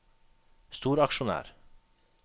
storaksjonær